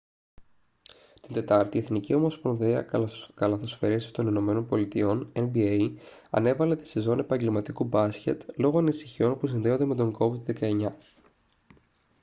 την τετάρτη η εθνική ομοσπονδία καλαθοσφαίρισης των ηνωμένων πολιτειών nba ανέβαλε τη σεζόν επαγγελματικού μπάσκετ λόγω ανησυχιών που συνδέονται με τον covid-19